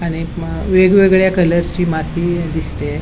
आणि एक म वेगवेगळ्या कलरची माती य दिसतेय.